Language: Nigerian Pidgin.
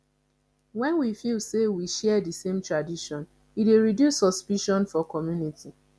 when we feel sey we share di same tradition e dey reduce suspicion for community